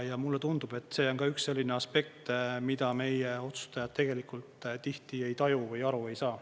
Ja mulle tundub, et see on ka üks selline aspekt, mida meie otsustajad tegelikult tihti ei taju või aru ei saa.